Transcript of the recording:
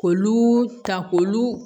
K'olu ta k'olu